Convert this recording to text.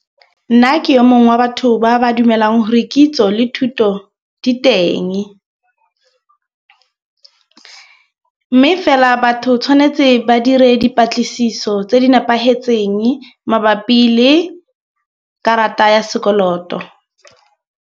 Nna ke yo mongwe wa batho ba ba dumelang gore kitso le thuto di teng. Mme fela batho tshwanetse ba dire dipatlisiso tse di nepagetseng mabapi le karata ya sekoloto.